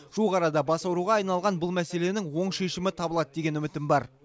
жуық арада бас ауруға айналған бұл мәселенің оң шешімі табылады деген үмітім бар